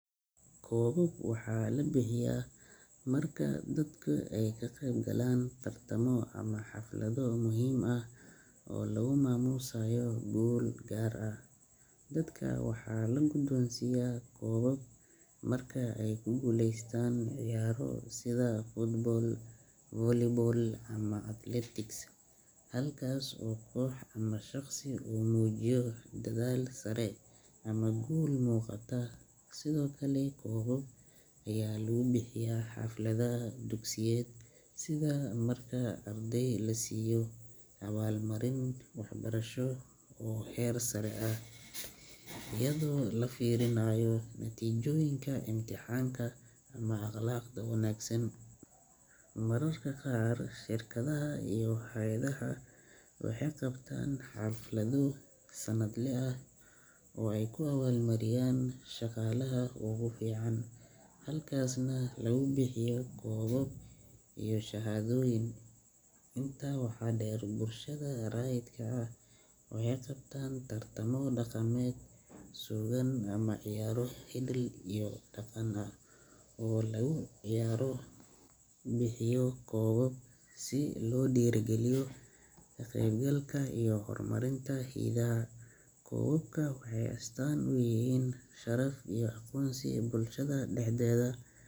Koobab waxaa la bixiyaa marka dadku ay ka qaybgalaan tartamo ama xaflado muhiim ah oo lagu maamuusayo guul gaar ah. Dadka waxaa la guddoonsiiyaa koobab marka ay ku guuleystaan ciyaaro sida football, volleyball, ama athletics, halkaas oo koox ama shaqsi uu muujiyo dadaal sare ama guul muuqata. Sidoo kale, koobab ayaa lagu bixiyaa xafladaha dugsiyeed sida marka arday la siiyo abaalmarin waxbarasho oo heer sare ah, iyadoo laga fiirinayo natiijooyinka imtixaanka ama akhlaaqda wanaagsan. Mararka qaar, shirkadaha iyo hay’adaha waxay qabtaan xaflado sannadle ah oo ay ku abaalmariyaan shaqaalaha ugu fiican, halkaasna lagu bixiyo koobab iyo shahaadooyin. Intaa waxaa dheer, bulshada rayidka ah waxay qabtaan tartamo dhaqameed, suugaan ama ciyaaro hidde iyo dhaqan ah oo lagu bixiyo koobab si loo dhiirrigeliyo kaqeybgalka iyo horumarinta hidaha. Koobabka waxay astaan u yihiin sharaf iyo aqoonsi bulshada dhexdeeda.